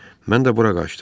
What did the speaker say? Mən də bura qaçdım.